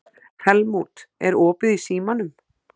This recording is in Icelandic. Helmút, er opið í Símanum?